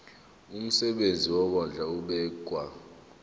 umsebenzi wokondla ubekwa